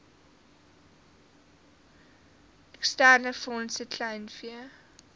eksterne fondse kleinvee